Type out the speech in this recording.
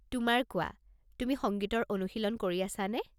তোমাৰ কোৱা, তুমি সংগীতৰ অনুশীলন কৰি আছানে?